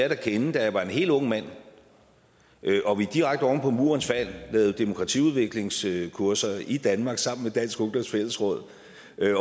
at kende da jeg var en helt ung mand og vi direkte oven på murens fald lavede demokratiudviklingskurser i danmark sammen med dansk ungdoms fællesråd